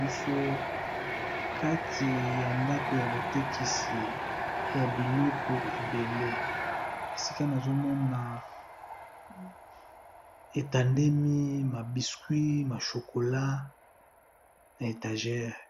esika oyo batekisaka biloko ébélé ya kolia